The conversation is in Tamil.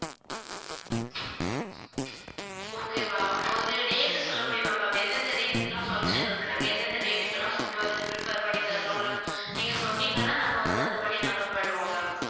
okay ma'am அப்ப வந்து date சொல்ல முடியுமா ma'am எந்தெந்த date க்குலாம் function இருக்கு நாங்க எந்தெந்த date க்கு எல்லாம் food வந்து prepare பண்ணி தரணும்னு நீங்க சொன்னீங்கன்னா நாங்க வந்து அது படி நாங்க பண்ணுவோம் ma'am